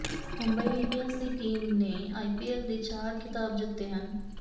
Mumbai Indians ਦੀ team ਨੇ IPL ਦੇ ਚਾਰ ਖਿਤਾਬ ਜਿੱਤੇ ਹਨ